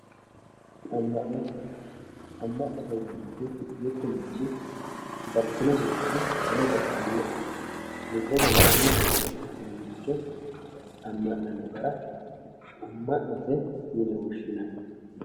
amma'no amma'note yinanniti mittu manchi baxisinosiricho ane gatisannoe lubbote worannoe yee assirannoricho amma'nanno gara amma'note yine woshshinanni.